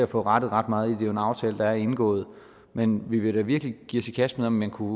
får rettet ret meget i den aftale der er indgået men vi vil da virkelig give os i kast med om man kunne